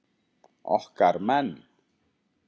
Okkar menn